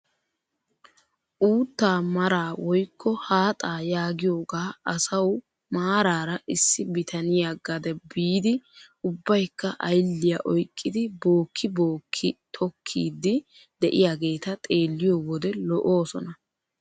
Uuttaa maraa woykko haaxaa yaagiyoogaa asau maarara issi bitaniyaa gade biidi ubbaykka aylliyaa oyqqidi bookki bookki tokkiidi de'iyaageta xeelliyoo wode lo"oosona.